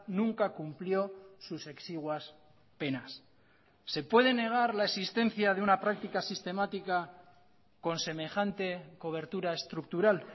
nunca cumplió sus exiguas penas se puede negar la existencia de una práctica sistemática con semejante cobertura estructural